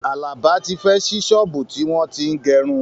Àlàbá tí fẹ́ ṣí ṣọ́ọ̀bú tí wọ́n tín gẹrun